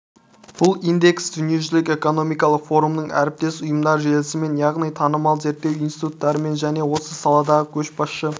бұл индекс дүниежүзілік экономикалық форумның әріптес ұйымдар желісімен яғни танымал зерттеу институттармен және осы саладағы көшбасшы